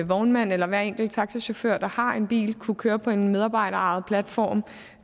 vognmand eller hver enkelt taxichauffør der har en bil kunne køre på en medarbejderejet platform